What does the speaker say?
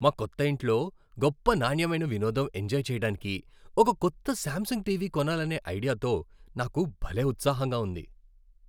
మా కొత్త ఇంట్లో గొప్ప నాణ్యమైన వినోదం ఎంజాయ్ చెయ్యటానికి ఒక కొత్త శామ్సంగ్ టీవీ కొనాలనే ఐడియాతో నాకు భలే ఉత్సాహంగా ఉంది.